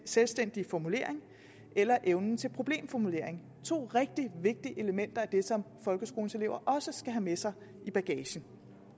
selvstændig formulering eller evnen til problemformulering det to rigtig vigtige elementer i det som folkeskolens elever også skal have med sig i bagagen